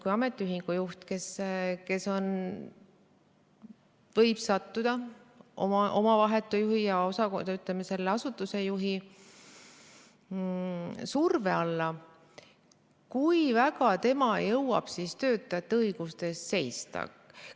Kui ametiühingu juht võib sattuda oma vahetu juhi, ja ütleme, selle asutuse juhi surve alla, siis kui väga tema jõuab töötajate õiguste eest seista?